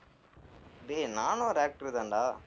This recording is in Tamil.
டேய் நானும் ஒரு actor தான்டா